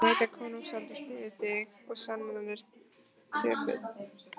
Hann veit að konungsvaldið styður þig og sennan er töpuð.